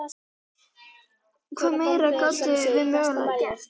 Hvað meira gátum við mögulega gert?